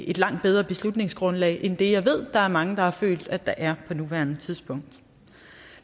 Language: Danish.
et langt bedre beslutningsgrundlag end det jeg ved mange har følt der er på nuværende tidspunkt